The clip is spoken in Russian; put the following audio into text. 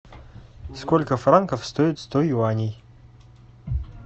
сколько франков стоит сто юаней